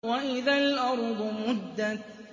وَإِذَا الْأَرْضُ مُدَّتْ